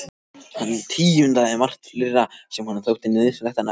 Hann tíundaði margt fleira sem honum þótti nauðsynlegt að nefna.